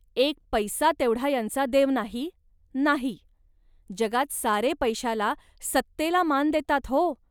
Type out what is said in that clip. एक पैसा तेवढा यांचा देव आहे, नाही. जगात सारे पैशाला, सत्तेला मान देतात हो